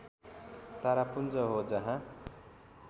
तारापुञ्ज हो जहाँ